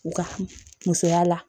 U ka musoya la